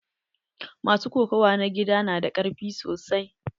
Masu kokawa na gida na da karfi sosai.